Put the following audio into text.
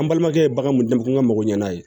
An balimakɛ ye bagan mun dɛmɛ k'an ka mago ɲana ye